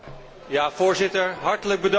Voorzitter, hartelijk bedankt.